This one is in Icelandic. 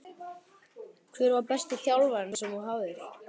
Hver var besti þjálfarinn sem þú hafðir?